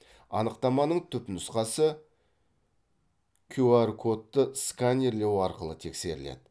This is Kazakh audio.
анықтаманың түпнұсқасы кюар кодты сканерлеу арқылы тексеріледі